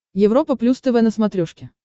европа плюс тв на смотрешке